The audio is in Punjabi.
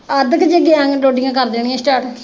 ਅੱਧ ਕ ਚ ਗਿਆ ਡੋਡੀਆਂ ਕਰ ਦੇਣੀਆਂ ਸਟਾਰਟ।